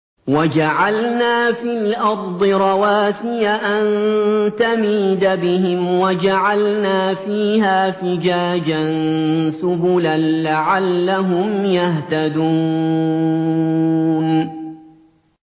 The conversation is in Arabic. وَجَعَلْنَا فِي الْأَرْضِ رَوَاسِيَ أَن تَمِيدَ بِهِمْ وَجَعَلْنَا فِيهَا فِجَاجًا سُبُلًا لَّعَلَّهُمْ يَهْتَدُونَ